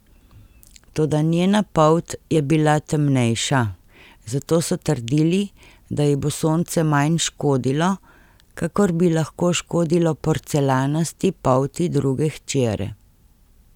Toda njena polt je bila temnejša, zato so trdili, da ji bo sonce manj škodilo, kakor bi lahko škodilo porcelanasti polti druge hčere.